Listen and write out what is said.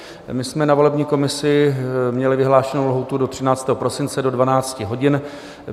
My jsme na volební komisi měli vyhlášenou lhůtu do 13. prosince do 12 hodin.